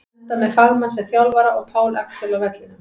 Enda með fagmann sem þjálfara og Pál Axel á vellinum!